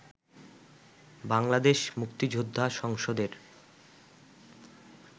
বাংলাদেশ মুক্তিযোদ্ধা সংসদের